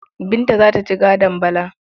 Binta za ta ci gadon Bala.